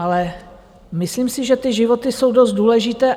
Ale myslím si, že ty životy jsou dost důležité.